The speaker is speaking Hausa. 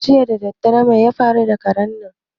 Jiya daddare mai ya faru da karen nan?